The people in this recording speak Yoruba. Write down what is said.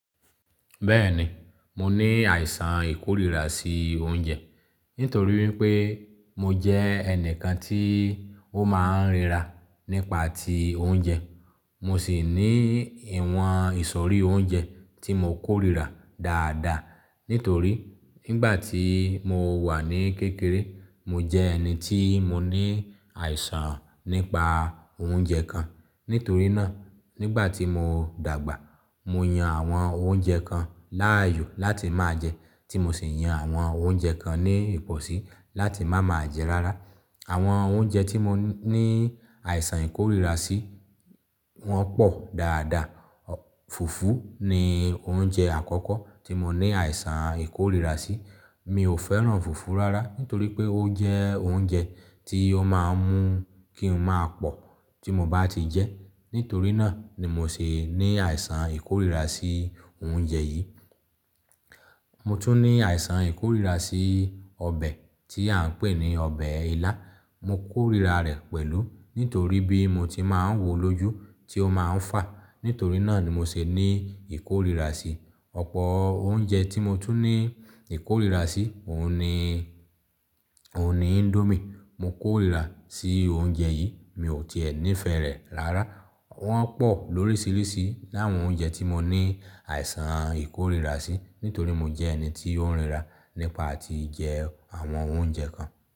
Bẹ́ẹ̀ni, mo ní àìsàn ìkórìíra sí oúnjẹ nitorí wípé mo jẹ́ ẹnìkan tí ó máa ń ríra nípa ti oúnjẹ. Mo sì ní ìwọ̀n ìsọ̀rí oúnjẹ tí mo kórìíra dáadáa. Nítorí nígbà tí mo wà ní kékeré, mo jẹ́ ẹni tí mo ní àìsàn nípa oúnjẹ kan. Nítorí náà, nígbà tí mo dàgbà, mo yan àwọn oúnjẹ kan láàyò láti máa jẹ, tí mo sì yan àwọn oúnjẹ kan ní ìpọ̀sí láti má máa jẹ rárá. Àwọn oúnjẹ tí mo ní àìsàn ìkórìíra sí wọ́n pọ̀ dáadáa. Fùfú ni oúnjẹ àkọ́kọ́ tí mo ní àìsàn ìkórìíra sí. Mi ò fẹ́ràn fùfú rárá nítorí pé ó jẹ́ oúnjẹ, tí ó máa ń mú kí n máa pọ̀ tí mo bá ti jẹ. Nítorí náà ni mo sì ní àìsàn ìkórìíra sí oúnjẹ yìí. Mo tún ní àìsàn ìkórìíra sí ọbẹ̀ tí à ń pè ní ọbẹ̀ ilá. Mo kórìíra rẹ̀ pẹ̀lú nítorí bí mo ti máa ń wo lójú tí ó máa ń fà. Nítorí náà ni mo sì ní ìkórìíra sí. Ọ̀pọ̀ oúnjẹ tí mo tún ní ìkórìíra sí òun ni índómì. Mo kórìíra sí oúnjẹ yií, mi ò ti è níí fẹ́ rẹ̀ rárá. Wọ́n pọ̀ lóríṣiríṣi láwọn oúnjẹ tí mo ní àìsàn ìkórìíra sí, nítorí mo jẹ́ ẹni tí ó ń ríra nípa tí jẹ àwọn oúnjẹ kan.